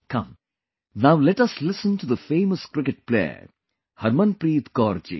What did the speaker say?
Come, now let us listen to the famous cricket player Harmanpreet Kaur ji